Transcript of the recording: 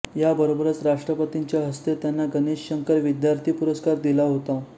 याबरोबरच राष्ट्रपतींच्या हस्ते त्यांना गणेश शंकर विद्यार्थी पुरस्कार दिला होता